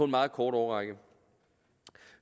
meget kort årrække